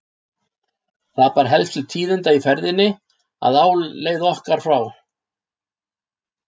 Það bar helst til tíðinda í ferðinni að á leið okkar frá